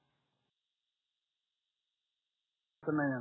अडचण नाही येणार न काही